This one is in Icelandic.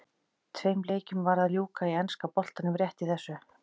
Tveim leikjum var að ljúka í enska boltanum rétt í þessu.